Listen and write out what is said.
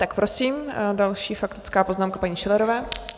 Tak prosím, další faktická poznámka paní Schillerové.